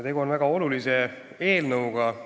Tegu on väga olulise eelnõuga.